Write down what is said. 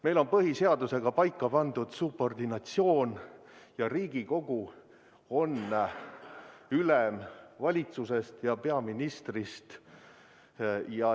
Meil on põhiseadusega paika pandud subordinatsioon, Riigikogu on ülem valitsusest ja peaministrist.